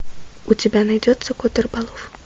у тебя найдется кот рыболов